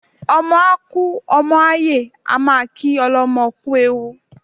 Ọmọ a kú, ọmọ a yè a máa kí ọlọ́mọ kú ewu